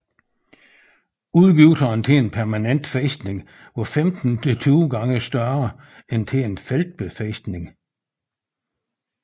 Udgifterne til en permanent fæstning var 15 til 20 gange større end til en feltbefæstning